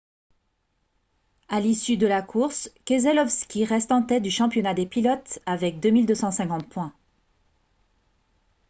à l'issue de la course keselowski reste en tête du championnat des pilotes avec 2 250 points